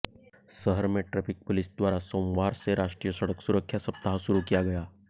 शहर में traffic police द्वारा सोमवार से राष्ट्रीय सड़क सुरक्षा सप्ताह शुरू किया गया